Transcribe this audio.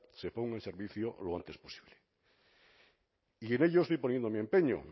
se ponga en servicio lo antes posible y en ello estoy poniendo mi empeño